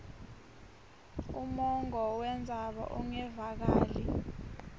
umongo wendzaba ungevakali